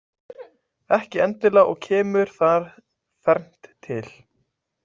Ekki endilega og kemur þar fernt til.